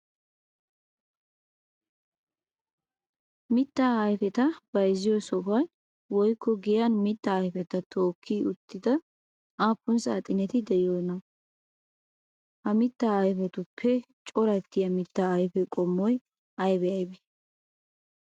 Mitta ayifeta bayzziyo sohuwan woykko giyan mitta ayifeta tookki uttida aappun saaxineti de'iyoonaa? Ha mittaa ayifetuppe corattiyaa mittaa ayife qommoti ayibe ayibee?